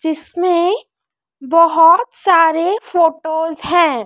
जिसमें बहोत सारे फोटोस है।